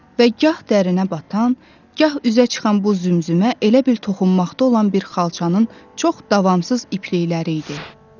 Və gah dərinə batan, gah üzə çıxan bu zümzümə elə bir toxunmaqda olan bir xalçanın çox davamsız iplikləri idi.